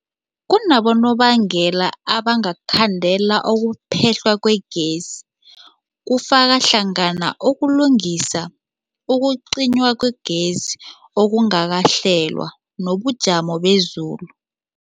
Kunabonobangela abangakhandela ukuphehlwa kwegezi, kufaka hlangana ukulungisa, ukucinywa kwegezi okungakahlelwa, nobujamo bezulu.